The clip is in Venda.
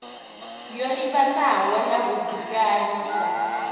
yo livhanaho na vhudzekani sa